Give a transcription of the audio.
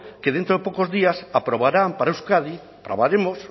que dentro de pocos días aprobarán para euskadi aprobaremos